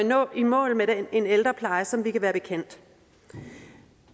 når i mål med en ældrepleje som vi kan være bekendt